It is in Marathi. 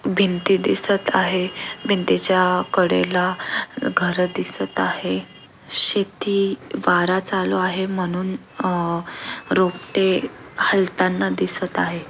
भिंती दिसत आहे भिंतीच्या कडेला घर दिसत आहे शेती वारा चालू आहे म्हणून अह रोपटे हलताना दिसत आहे.